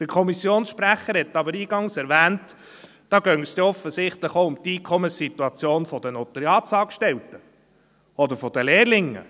Der Kommissionssprecher hat aber eingangs erwähnt, dabei gehe es dann offensichtlich auch um die Einkommenssituation der Notariatsangestellten oder der Lehrlinge.